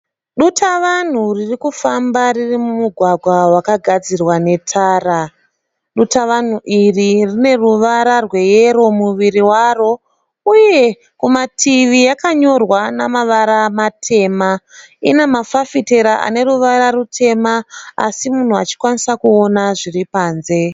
Dutavanhu ririkufambai kufamba riri mumugwagwa wakagadzirwa netara. Dutavanhu iri rine ruvara rweyero muviri waro uye kumativi yakanyorwa namavara matema. Ina mafafitera ane ruvara rutema asi munhu achikwanisa kuona zviri panze.